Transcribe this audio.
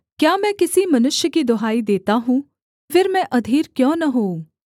क्या मैं किसी मनुष्य की दुहाई देता हूँ फिर मैं अधीर क्यों न होऊँ